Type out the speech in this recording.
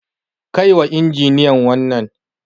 Kai wa injiniyan wannan.